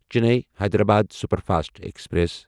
Chennai Hyderabad superfast express